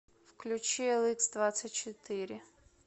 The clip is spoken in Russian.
включи эликсдвадцатьчетыре